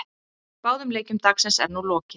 Báðum leikjum dagsins er nú lokið.